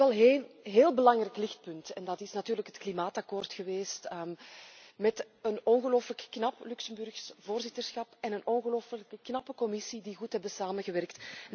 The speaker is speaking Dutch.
Er is wel een heel belangrijk lichtpunt en dat is natuurlijk het klimaatakkoord, met een ongelooflijk knap Luxemburgs voorzitterschap en een ongelooflijk knappe Commissie die goed hebben samengewerkt.